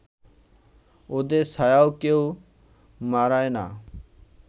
ওদের ছায়াও কেউ মাড়ায় না